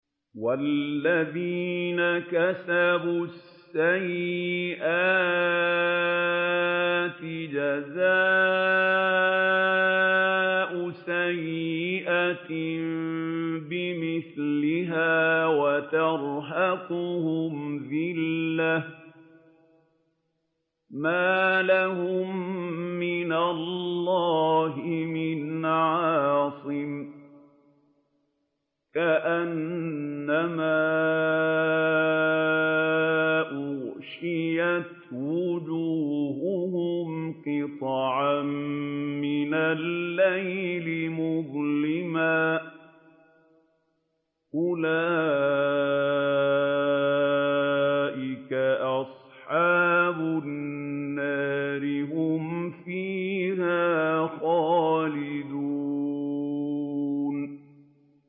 وَالَّذِينَ كَسَبُوا السَّيِّئَاتِ جَزَاءُ سَيِّئَةٍ بِمِثْلِهَا وَتَرْهَقُهُمْ ذِلَّةٌ ۖ مَّا لَهُم مِّنَ اللَّهِ مِنْ عَاصِمٍ ۖ كَأَنَّمَا أُغْشِيَتْ وُجُوهُهُمْ قِطَعًا مِّنَ اللَّيْلِ مُظْلِمًا ۚ أُولَٰئِكَ أَصْحَابُ النَّارِ ۖ هُمْ فِيهَا خَالِدُونَ